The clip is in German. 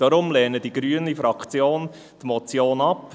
Deshalb lehnt die grüne Fraktion die Motion ab.